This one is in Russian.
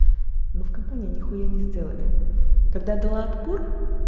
компания нехуя не сделали тогда дала отпор